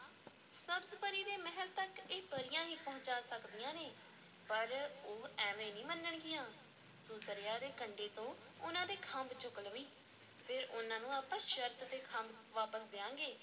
ਸਬਜ਼-ਪਰੀ ਦੇ ਮਹਿਲ ਤੱਕ ਇਹ ਪਰੀਆਂ ਹੀ ਪਹੁੰਚਾ ਸਕਦੀਆਂ ਨੇ, ਪਰ ਉਹ ਐਵੇਂ ਨਹੀਂ ਮੰਨਣਗੀਆਂ ਤੂੰ ਦਰਿਆ ਦੇ ਕੰਢੇ ਤੋਂ ਉਹਨਾਂ ਦੇ ਖੰਭ ਚੁੱਕ ਲਵੀਂ, ਫਿਰ ਉਹਨਾਂ ਨੂੰ ਆਪਾਂ ਸ਼ਰਤ ’ਤੇ ਖੰਭ ਵਾਪਸ ਦਿਆਂਗੇ,